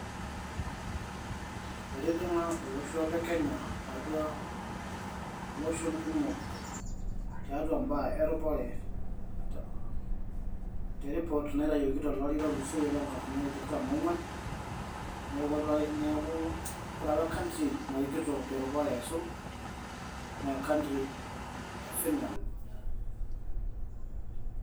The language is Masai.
Etijing'a olosho le Kenya atua loshon kumok tiatua imbaa eropare [] teripoot naitayioki tolari otulosoyie lo nkalifuni are o tikitam ong'uan. Neeku ore apa e country narikito terupare aisul, na e country e Finland.